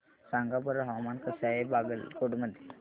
सांगा बरं हवामान कसे आहे बागलकोट मध्ये